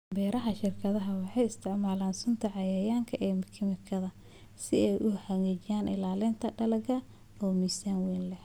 Beeraha shirkadaha waxay isticmaalaan sunta cayayaanka kiimikaad si ay u xaqiijiyaan ilaalinta dalagga oo miisaan weyn leh.